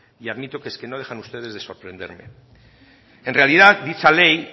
y admito que no dejan ustedes de sorprenderme en realidad dicha ley